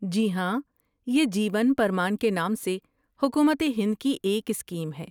جی ہاں، یہ جیون پرمان کے نام سے حکومت ہند کی ایک اسکیم ہے۔